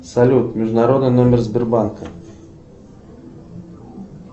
салют международный номер сбербанка